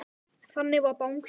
Þannig var Bangsi.